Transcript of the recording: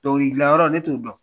Dɔnkili gilan yɔrɔ, ne t'o dɔn.